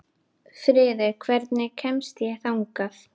Friðey, hvernig kemst ég þangað?